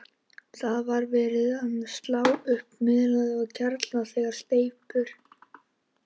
Það var verið að slá upp fyrir miðhæð og kjallarinn þegar steyptur.